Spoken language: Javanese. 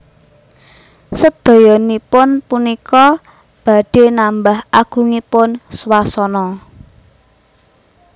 Sedayanipun punika badhé nambah agungipun swasana